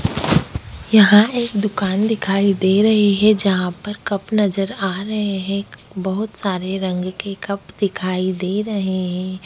यहाँ एक दुकान दिखाई दे रही है जहाँ पर कप नजर आ रहे हैं बहुत सारे रंग के कप दिखाई दे रही हैं।